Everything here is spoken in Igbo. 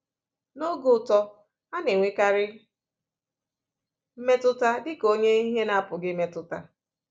N’oge uto, a na-enwekarị mmetụta dịka onye ihe na-apụghị imetụta.